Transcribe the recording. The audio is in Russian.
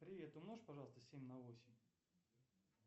привет умножь пожалуйста семь на восемь